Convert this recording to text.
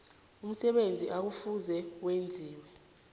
umsebenzi ekufuze wenziwe